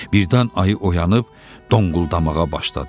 Birdən ayı oyanıb, donquldamağa başladı.